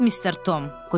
Yox, Mister Tom.